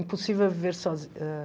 Impossível viver sozinha ãh